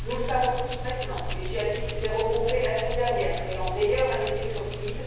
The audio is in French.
Nous le savons tous maintenant, les djihadistes s'étaient regroupés la semaine dernière créant, d'ailleurs, un effet de surprise,